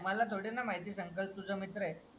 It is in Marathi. माला थोडी ना माहितीये संकल्प तुझा मित्र आहे.